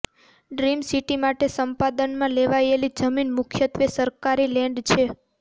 dream city માટે સંપાદનમાં લેવાયેલી જમીન મુખ્યત્વે સરકારી લેન્ડ છે